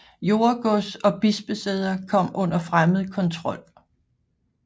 Jordegods og bispesæder kom under fremmed kontrol